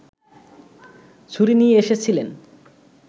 ছুরি নিয়ে এসেছিলেন